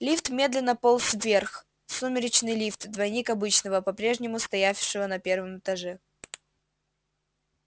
лифт медленно полз вверх сумеречный лифт двойник обычного попрежнему стоявшего на первом этаже